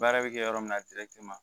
Baara bɛ kɛ yɔrɔ min na